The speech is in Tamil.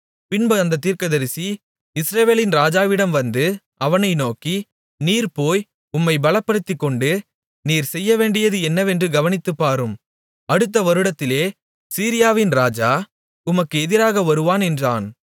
பின்பு அந்தத் தீர்க்கதரிசி இஸ்ரவேலின் ராஜாவினிடம் வந்து அவனை நோக்கி நீர் போய் உம்மைப் பலப்படுத்திக்கொண்டு நீர் செய்யவேண்டியது என்னவென்று கவனித்துப்பாரும் அடுத்த வருடத்திலே சீரியாவின் ராஜா உமக்கு எதிராக வருவான் என்றான்